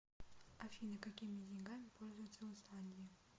афина какими деньгами пользуются в исландии